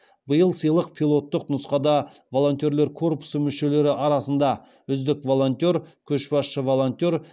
биыл сыйлық пилоттық нұсқада волонтерлер корпусы мүшелері арасында үздік волонтер көшбасшы волонтер